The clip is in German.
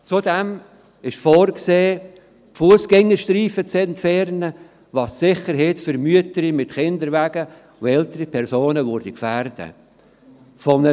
Zudem ist vorgesehen, die Fussgängerstreifen zu entfernen, was die Sicherheit von Müttern mit Kinderwagen und älteren Personen gefährden würde.